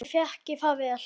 Ég þekki það vel.